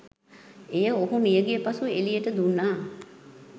එය ඔහු මියගිය පසු එලියට දුන්නා